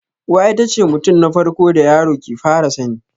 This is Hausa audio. Uwa itace mutum na farko da yaro ke fara sani